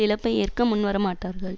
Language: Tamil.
இழப்பை ஏற்க முன் வரமாட்டார்கள்